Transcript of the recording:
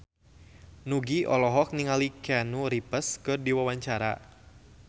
Nugie olohok ningali Keanu Reeves keur diwawancara